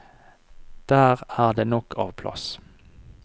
Der er det nok av plass.